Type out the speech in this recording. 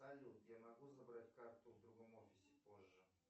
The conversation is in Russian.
салют я могу забрать карту в другом офисе позже